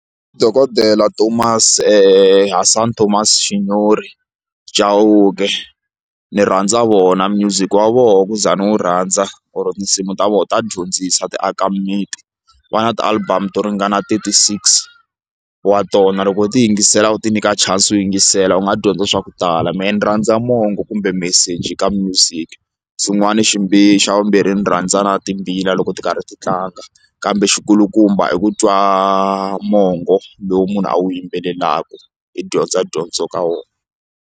Dokodela Thomas Hasani Tomas Xinyori Chauke ni rhandza vona music wa vona ku za ni wu rhandza or tinsimu ta vona ta dyondzisa ti aka mimiti va na ti-album to ringana thirty six wa tona loko u ti yingisela u ti nyika chance u yingisela u nga dyondza swa ku tala mehe ni rhandza mongo kumbe meseji ka music xin'wani xi xa vumbirhi ndzi rhandza na timbila loko ti karhi ti tlanga kambe xi kulukumba i ku twa mongo lowu munhu a wu yimbelelaka hi dyondza dyondzo ka wona.